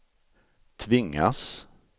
tvingas